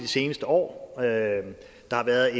seneste år der har været